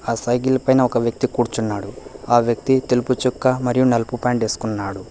ఆ సైకిల్ పైన ఒక వ్యక్తి కూర్చున్నాడు ఆ వ్యక్తి తెలుపుచుక్క మరియు నలుపు పాయింటు వేసుకున్నాడు.